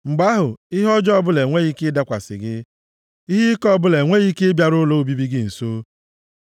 mgbe ahụ, ihe ọjọọ ọbụla enweghị ike ịdakwasị gị; ihe ike ọbụla enweghị ike ịbịaru ụlọ obibi gị nso.